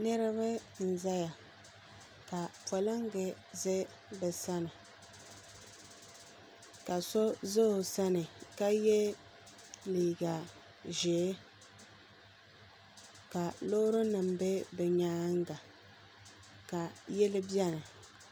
Niriba n zaya ka polinga za bɛ sani ka so za o sani ka ye liiga ʒee ka loori nima be bɛ nyaanga ka yili biɛni.